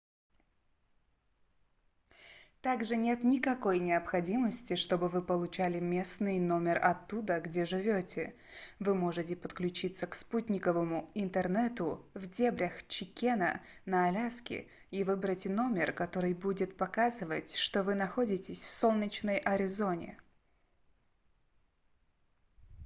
также нет никакой необходимости чтобы вы получали местный номер оттуда где живёте вы можете подключиться к спутниковому интернету в дебрях чикена на аляске и выбрать номер который будет показывать что вы находитесь в солнечной аризоне